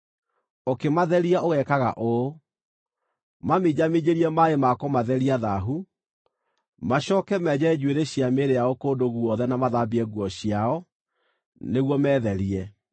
Ũkĩmatheria ũgeekaga ũũ: Maminjaminjĩrie maaĩ ma kũmatheria thaahu; macooke menje njuĩrĩ cia mĩĩrĩ yao kũndũ guothe na mathambie nguo ciao, nĩguo metherie.